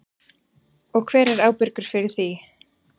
Og hver er ábyrgur fyrir því?